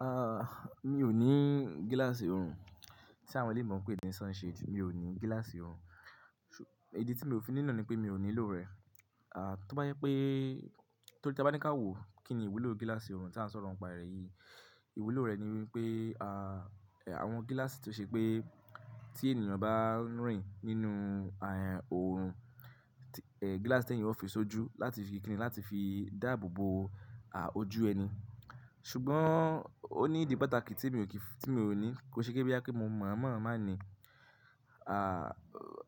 Ah, mi ò ní gíláàsì òòrùn tí àwọn èléyii ma n pé ńi sunshades. Mi ò ní gíláàsì òòrùn. Idi tí mi ò fi ní na ni pé mi ò nílò rẹ̀. Ah, tó bá jẹ pé torí tí a bá ní ká wo kí ni ìwúlò gíláàsì òòrùn tí à ń sọ̀rọ̀ ń pa rẹ̀ yìí. Ìwúlò rẹ̀ ni wípé àwọn gíláàsì tó ṣe pé tí ènìyàn bá ń rìn nínú òòrùn, gíláàsì tẹ̀yan ó fi sojú láti fi dáàbò bo ojú ẹni. Ṣùgbọ́n ó ní ìdí pàtàkì tí mi ò ní. Kò ṣe pé boya pe mo mọ̀ mọ̀ máà ní.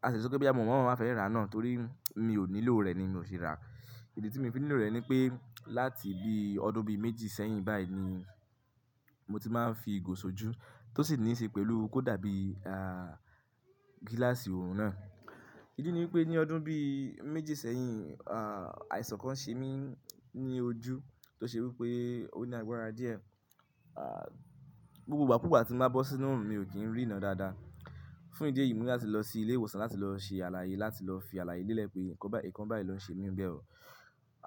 Ka ti e sọ pé boyà mi o mọ̀ mọ́ máa fẹ́ rà á náà torí mi ò nílò rẹ̀ ni mi ò ṣe rà. Idi tí mi fi nílò rẹ̀ ni pé láti bí ọdún bí méjì sẹ́yìn báyìí ni mo ti máa ń fi ìgò sojú tó sì níí ṣe pẹ̀lú kó dàbí gíláàsì òòrùn náà. Ìdí ni wípé ní ọdún bí méjì sẹ́yìn àìsàn kan ṣe mí ní ojú tó ṣe wípé ó ní agbára díẹ̀. Gbogbo ìgbà kú ìgbà tí mo bá bọ́ sínú òòrùn mi ò kín ríná dáadáa. Fún ìdí èyí mi ní láti lọ sí ilé ìwòsàn láti lọ ṣe àlàyé láti lọ fi àlàyé lélẹ̀ pé nǹkan báyìí ló ń ṣe mí bẹ́ẹ̀ o.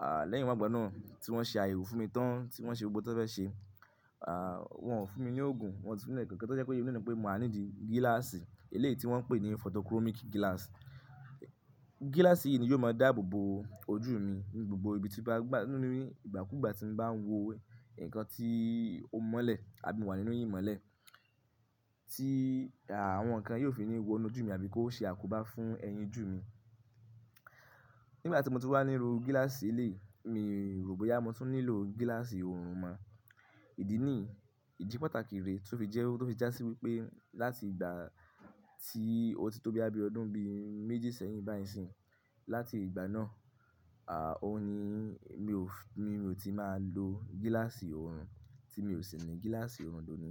Ah, lẹ́yìn wọ́gbà náà tí wọ́n ṣe ayẹwo fún mi tán tí wọ́n ṣe ohun gbogbo tí wọ́n fẹ́ ṣe. Ah, wọ́n o fún mi ní òògùn, wọ́n si fún mi ni nkankan tó jẹ́ pé iyen ni o wípé maa nídi gíláàsì eléyìí tí wọ́n ń pè ní photochromic glass. Gíláàsì yìí ni yóò máa dáàbò bo ojú mi ni gbogbo ìbi tí bá gbá, ní gbà kú ìgbà tí mo bá ń wo ǹkan tí ó mọ́lẹ̀ àbí mo wà nínú ìmọ́lẹ̀ tí àwọn ǹkan yóò fi ní wo inú ojú mi àbí kó ṣe àkóbá fún ẹyin jù mi. Nígbà tí mo ti wá níru gíláàsì eléyìí mi rò bóyá mo tún nílò gíláàsì òòrùn mọ. Ìdí ní yii, ìdí pàtàkì rè tó fi jẹ́, tó fi jásí wípé láti ìgbà tí o tí tó bí boya bi ọdún bí méjì sẹ́yìn bá yi ń sìn. Láti ìgbà náà, ah, òun ni mi ò fi, mi ò ti máa lo gíláàsì òòrùn tí mi ò sì ní gíláàsì òòrùn d'oni.